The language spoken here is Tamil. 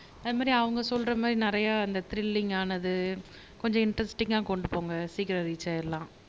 அது மாதிரி அவங்க சொல்ற மாதிரி நிறைய அந்த திரில்லிங் ஆனது கொஞ்சம் இன்டரஸ்டிங்கா கொண்டு போங்க சீக்கிரம் ரீச்ஆயிடலாம்